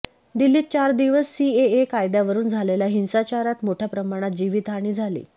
दिल्लीत चार दिवस सीएए कायद्यावरुन झालेल्या हिंसाचारात मोठ्या प्रमाणात जीवितहानी झाली